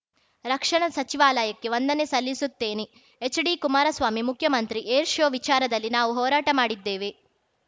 ರಕ್ಷಣಾ ಸಚಿವಾಲಯಕ್ಕೆ ವಂದನೆ ಸಲ್ಲಿಸುತ್ತೇನೆ ಎಚ್‌ಡಿ ಕುಮಾರಸ್ವಾಮಿ ಮುಖ್ಯಮಂತ್ರಿ ಏರ್ ಶೋ ವಿಚಾರದಲ್ಲಿ ನಾವು ಹೋರಾಟ ಮಾಡಿದ್ದೇವೆ